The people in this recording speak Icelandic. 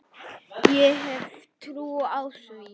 Ég hef trú á því.